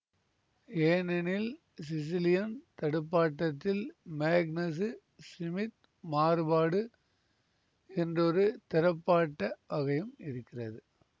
ஏனெனில் சிசிலியன் தடுப்பாட்டத்தில் Magnus Smith மாறுபாடு என்றொரு திறப்பாட்ட வகையும் இருக்கிறது